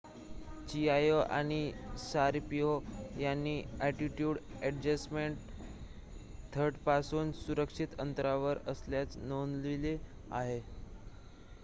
Chiao आणि Sharipov यांनी attitude adjustment थ्रस्टरपासून सुरक्षित अंतरावर असल्याचे नोंदवले आहे